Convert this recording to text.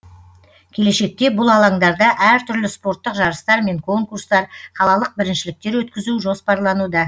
келешекте бұл алаңдарда әр түрлі спорттық жарыстар мен конкурстар қалалық біріншіліктер өткізу жоспарлануда